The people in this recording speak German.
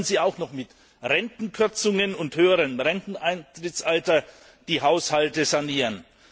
Jetzt sollen sie auch noch mit Rentenkürzungen und höherem Renteneintrittsalter die Haushalte sanieren!